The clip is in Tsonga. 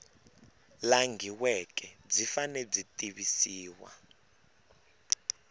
langhiweke byi fanele byi tivisa